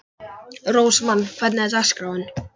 Rósmann, hvernig er dagskráin?